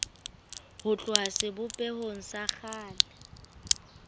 ho tloha sebopehong sa kgale